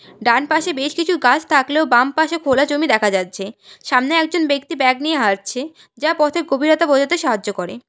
ডান পাশে বেশ কিছু গাছ থাকলেও বাম পাশে খোলা জমি দেখা যাচ্ছে সামনে একজন ব্যক্তি ব্যাগ নিয়ে হাঁটছে যা পথের গভীরতা বোঝাতে সাহায্য করে।